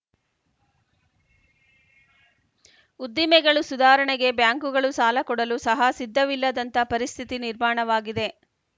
ಉದ್ದಿಮೆಗಳು ಸುಧಾರಣೆಗೆ ಬ್ಯಾಂಕುಗಳು ಸಾಲ ಕೊಡಲು ಸಹ ಸಿದ್ಧವಿಲ್ಲದಂತ ಪರಿಸ್ಥಿತಿ ನಿರ್ಮಾಣವಾಗಿದೆ